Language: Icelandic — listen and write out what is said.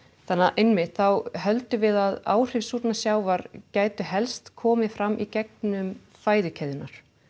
einmitt þá höldum við að áhrif af súrnun sjávar gætu helst komið fram í gegnum fæðukeðjurnar